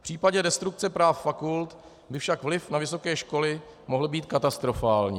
V případě destrukce práv fakult by však vliv na vysoké školy mohl být katastrofální.